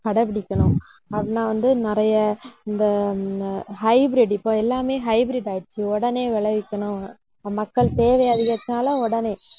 கடைபிடிக்கணும் அதுதான் வந்து நிறைய இந்த hybrid இப்ப, எல்லாமே hybrid ஆயிடுச்சு. உடனே விளைவிக்கணும் மக்கள் தேவை அதிகரிச்சாலும் உடனே